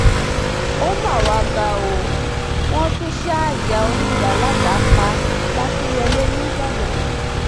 ó mà wàá ga ọ wọn tún ṣá ìyá oníyàá ládàá pa làkínyẹlé nìbàdàn